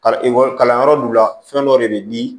Ekɔli kalanyɔrɔ du la fɛn dɔ de bɛ di